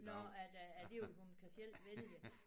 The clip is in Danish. Nåh at at det ville hun kan selv vælge